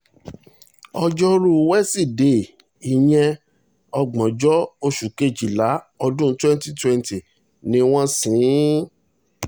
ojórù wísidee ìyẹn ògbóǹjọ oṣù kejìlá ọdún twenty twenty ni wọ́n ṣí in